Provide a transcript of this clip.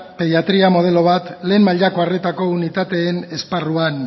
pediatria modelo bat lehen arretako unitateen esparruan